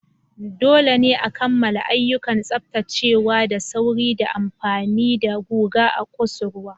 Dole ne a kammala ayyukan tsaftacewa da sauri ta amfani da guga a kusurwa.